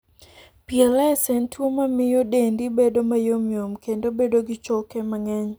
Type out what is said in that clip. PLS en tuwo ma miyo dendi bedo mayomyom kendo bedo gi choke mang'eny.